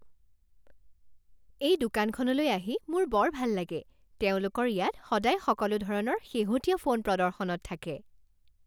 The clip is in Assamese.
এই দোকানখনলৈ আহি মোৰ বৰ ভাল লাগে। তেওঁলোকৰ ইয়াত সদায় সকলো ধৰণৰ শেহতীয়া ফোন প্ৰদৰ্শনত থাকে।